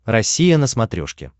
россия на смотрешке